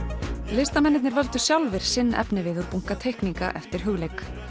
listamennirnir völdu sjálfir sinn efnivið og búnka teikninga eftir Hugleik